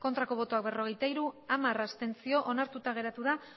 bai berrogeita hiru ez hamar abstentzio ez da onartu